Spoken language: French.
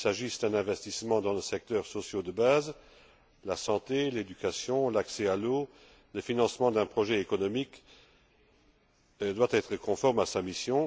Qu'il s'agisse d'un investissement dans les secteurs sociaux de base la santé, l'éducation, l'accès à l'eau le financement d'un projet économique doit être conforme à sa mission.